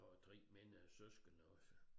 Og har 3 mindre søskende også